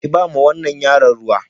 Ki ba wa wannan yaron ruwa.